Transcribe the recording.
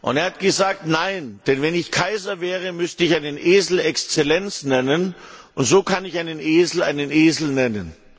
Er hat gesagt Nein, denn wenn ich Kaiser wäre, müsste ich einen Esel Exzellenz nennen, und so kann ich einen Esel einen Esel nennen.